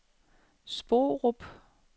Sporup